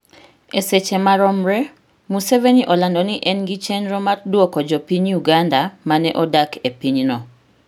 E seche maromre, Museveni olando ni en gi chenro mar duoko jo piny Uganda mane odak e pinyno